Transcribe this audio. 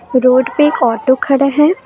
Road पे एक auto खड़ा है।